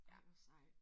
Ej hvor sejt